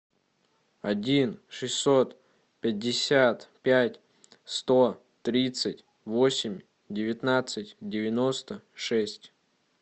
один шестьсот пятьдесят пять сто тридцать восемь девятнадцать девяносто шесть